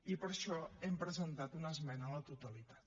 i per això hem presentat una esmena a la totalitat